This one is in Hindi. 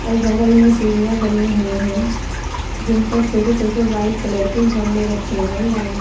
बगल में सीढ़ियां बनी हुई हैं जिन पर छोटे छोटे व्हाइट कलर के गमले रखे हैं लाइन से।